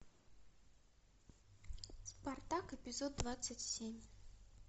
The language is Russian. спартак эпизод двадцать семь